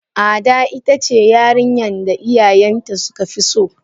Ada itace yarinyan da iyayen ta suka fi so.